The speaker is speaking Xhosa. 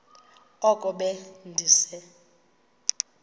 oko be ndise